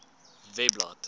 webblad